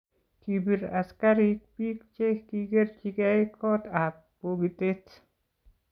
kibir askarik biik che kikikerjigei kootab bokitet